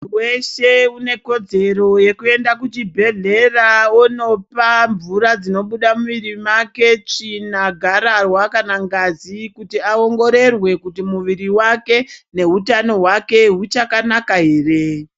Muntu weshe unekodzera yekuyenda kuchibhedhlera wonopa mvura dzinobyda mumwiri make, tsvina, garawa kana ngazi kuti awongirorwe kuti muwiri wake, newutano wake, wuchakanaka here.